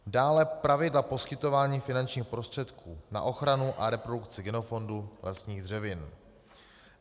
Dále pravidla poskytování finančních prostředků na ochranu a reprodukci genofondu lesních dřevin.